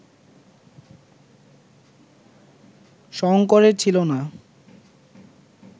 শঙ্করের ছিল না